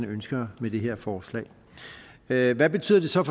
ønsker med det her forslag hvad hvad betyder det så